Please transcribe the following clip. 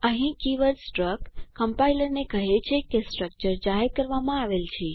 અહીં keyword struct કમ્પાઇલરને કહે છે કે સ્ટ્રક્ચર જાહેર કરવામાં આવેલ છે